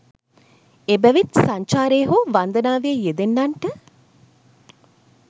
එබැවින් සංචාරයේ හෝ වන්දනාවේ යෙදෙන්නන්ට